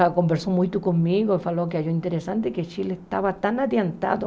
Aí conversou muito comigo e falou que achou interessante que o Chile estava tão adiantado